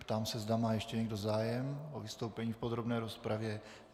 Ptám se, zda má ještě někdo zájem o vystoupení v podrobné rozpravě.